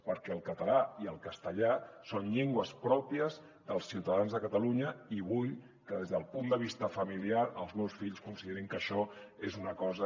perquè el català i el castellà són llengües pròpies dels ciutadans de catalunya i vull que des del punt de vista familiar els meus fills considerin que això és una cosa